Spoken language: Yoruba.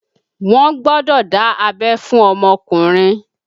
Wọn gbọ́dọ̀ dá abẹ́ fún ọmọkùnrin